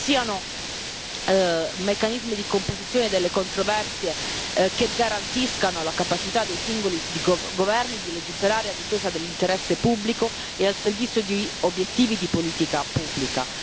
che ci siano meccanismi di composizione delle controversie che garantiscano la capacità dei singoli governi di legiferare a difesa dell'interesse pubblico e al servizio di obiettivi di politica pubblica